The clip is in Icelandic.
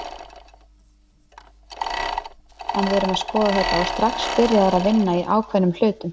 En við erum að skoða þetta og strax byrjaðir að vinna í ákveðnum hlutum.